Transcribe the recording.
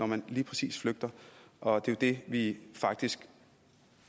man lige præcis flygter og det er det vi faktisk